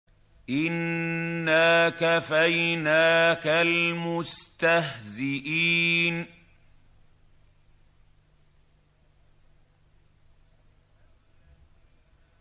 إِنَّا كَفَيْنَاكَ الْمُسْتَهْزِئِينَ